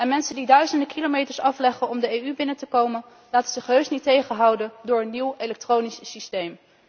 Mensen die duizenden kilometers afleggen om de EU binnen te komen laten zich heus niet tegenhouden door een nieuw elektronisch systeem.